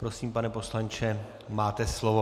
Prosím, pane poslanče, máte slovo.